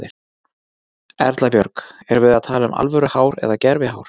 Erla Björg: Erum við að tala um alvöru hár eða gervi hár?